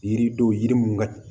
Yiridenw yiri mun ka